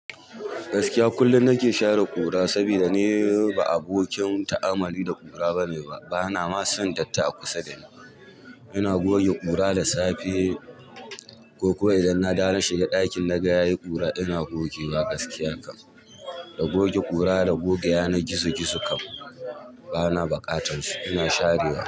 Gaskiya kullum nake share ƙura saboda ne ba abokin ta'amali da ƙura bane ba. Bana ma son datti a kusa da ni. Ina goge ƙura da safe ko kawai idan na dawo naga ɗakin yayi ƙura ina gogewa gaskiya haka da goge ƙura da goge yanar gizo gizo kam bana buƙatan su. Ina share wa.